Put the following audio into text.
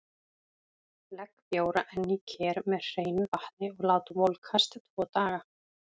Legg bjóra enn í ker með hreinu vatni og lát volkast tvo daga.